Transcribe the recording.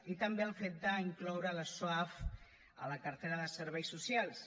i també el fet d’incloure els soaf a la cartera de serveis socials